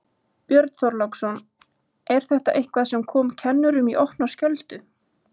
Björn Þorláksson: Er þetta eitthvað sem kom kennurum í opna skjöldu?